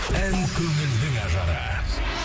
ән көңілдің ажары